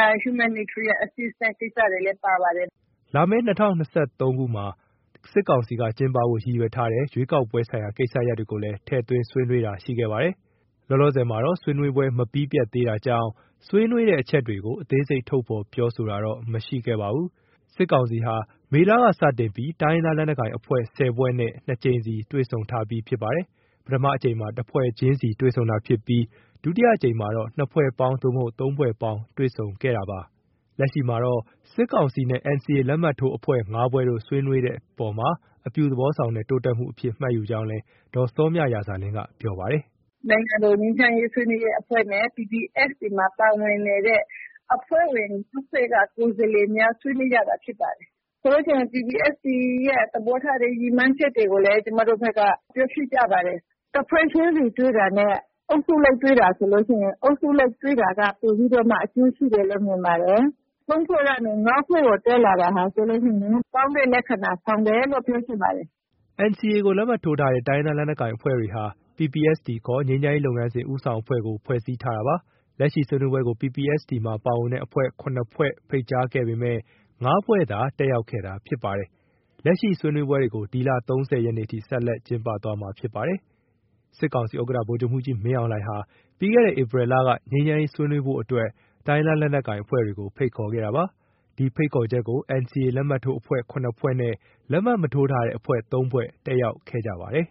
၊ humanitarian assistance ကိစ္စတွေလည်း ပါပါတယ်။” လာမယ့် ၂၀၂၃မှာ စစ်ကောင်စီက ကျင်းပဖို့ရည်ရွယ်ထားတဲ့ ရွေးကောက်ပွဲဆိုင်ရာကိစ္စရပ်တွေကိုလည်း ထည့်သွင်းဆွေးနွေးတာလည်း ရှိခဲ့ပါတယ်။ လောလောဆယ်မှာောတ့ ဆွေးနွေးပွဲမပြီးပြတ်သေးတာကြောင့် ဆွေးနွေးတဲ့အချက်တွေကို အသေးစိတ် ထုတ်ဖော်ပြောဆိုတာတော့ မရှိခဲ့ပါဘူး။ စစ်ကောင်စီဟာ မေလက စတင်ပြီး တိုင်းရင်းသားလက်နက်ကိုင်အဖွဲ့ ၁၀ ဖွဲ့နဲ့ ၂ ကြိမ်စီ တွေ့ဆုံထားပြီးဖြစ်ပါတယ်။ ပထမအကြိမ်မှာ တဖွဲ့ချင်းစီနဲ့တွေ့ဆုံတာဖြစ်ပြီး ဒုတိယအကြိမ်မှာတော့ ၂ ဖွဲ့ပေါင်း သို့မဟုတ် ၃ ဖွဲ့ပေါင်းနဲ့ တွေ့ဆုံခဲ့တာဖြစ်ပါတယ်။ လက်ရှိမှာတော့ စစ်ကောင်စီနဲ့ NCA လက်မှတ်ထိုးအဖွဲ့ ၅ ဖွဲ့တို့ ဆွေးနွေးဖြစ်တဲ့အပေါ်မှာတော့ အပြုသဘောဆောင်တဲ့ တိုးတက်မှုအဖြစ် မှတ်ယူကြောင်းလည်း ဒေါ်စောမြရာဇာလင်းက ပြောပါတယ်။ “ နိုင်ငံတော် ငြိမ်းချမ်းရေးဆွေးနွေးရေးအဖွဲ့နဲ့ PPST မှာပါဝင်နေတဲ့ အဖွဲ့ဝင် ၅ ဖွဲ့က ကိုယ်စားလှယ်များ ဆွေးနွေးကြတာဖြစ်ပါတယ်။ ဆိုလို့ရှိရင် PPST ရဲ့သဘောထား ရည်မှန်းချက်တွေကိုလည်း ပြောဖြစ်ကြပါတယ်။ တဖွဲ့ချင်းစီ တွေ့တာနဲ့ အုပ်စုလိုက်တွေ့တာဆိုရင် အုပ်စုလိုက် တွေ့တာက ပိုပြီးတော့ အကျိုးရှိတယ်လို့ မြင်ပါတယ်။ ၃ ဖွဲ့ကနေ ၅ ဖွဲ့ကို တက်လာတာဟာဆိုလို့ရှိရင် ကောင်းတဲ့လက္ခဏာဆောင်တယ်လို့ ပြောချင်ပါတယ်။” NCA လက်မှတ်ထိုးထားတဲ့ တိုင်းရင်းသားလက်နက်ကိုင်အဖွဲ့တွေဟာ PPST ခေါ် ငြိမ်းချမ်းရေးလုပ်ငန်းစဉ် ဦးဆောင်အဖွဲ့ကို ဖွဲ့စည်းထားတာပါ။ လက်ရှိ ဆွေးနွေးပွဲကို PPST မှာ ပါဝင်တဲ့အဖွဲ့ ၇ ဖွဲ့ကို ဖိတ်ကြားခဲ့ပေမဲ့ ၅ ဖွဲ့သာ တက်ရောက်ခဲ့တာဖြစ်ပါတယ်။ လက်ရှိ ဆွေးနွေးပွဲတွေကို ဒီလ ၃၀ ရက်နေ့အထိ ဆက်လက်ကျင်းပသွားမှာဖြစ်ပါတယ်။ စစ်ကောင်စီဥက္ကဋ္ဌ ဗိုလ်ချုပ်မှူးကြီး မင်းအောင်လှိုင်ဟာ ပြီးခဲ့တဲ့ ဧပြီလက ငြိမ်းချမ်းရေးဆွေးနွေးဖို့အတွက် တိုင်းရင်းသားလက်နက်ကိုင်အဖွဲ့တွေကို ဖိတ်ခေါ်ခဲ့တာပါ။ ဒီဖိတ်ခေါ်ချက်ကို NCA လက်မှတ်ထိုးအဖွဲ့ ၇ ဖွဲ့နဲ့ လက်မှတ်မထိုးထားတဲ့အဖွဲ့ ၃ ဖွဲ့ တက်ရောက်ခဲ့ကြပါတယ်။